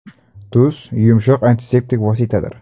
Tuz yumshoq antiseptik vositadir.